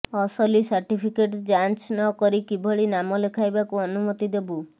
ଅସଲି ସାର୍ଟିଫିକେଟ୍ ଯାଞ୍ଚ ନ କରି କିଭଳି ନାମଲେଖାଇବାକୁ ଅନୁମତି ଦେବୁ